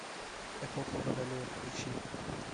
эпоха водолея включи